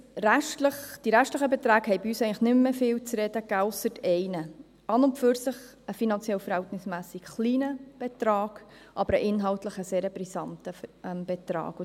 Die restlichen Beträge gaben nicht mehr viel zu reden, ausser eines an und für sich finanziell verhältnismässig kleinen, aber inhaltlich sehr brisanten Betrags: